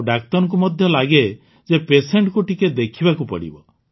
ଆଉ ଡାକ୍ତରଙ୍କୁ ମଧ୍ୟ ଲାଗେ ଯେ Patientକୁ ଟିକେ ଦେଖିବାକୁ ପଡ଼ିବ